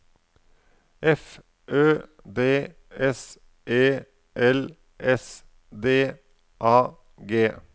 F Ø D S E L S D A G